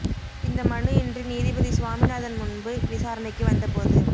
இந்த மனு இன்று நீதிபதி சுவாமிநாதன் முன்பு விசாரணைக்கு வந்த போது